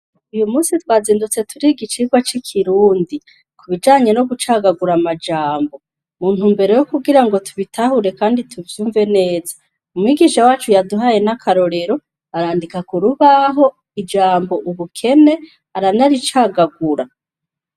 Uyu munsi twazindutse turiga icigwa c'ikirundi ku bijanye no gucagagura amajambo. Mu ntumbero yo kugira ngo tubitahure kandi tuvyumve neza ,umwigisha wacu yaduhaye n'akarorero arandika ku rubaho ijambo ubukene ,aranaricagagura.